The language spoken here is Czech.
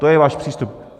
To je váš přístup.